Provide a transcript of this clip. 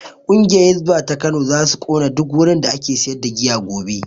Ƙungiyar hisba ta Kano zasu kona duk wurin da ake sayar da giya gobe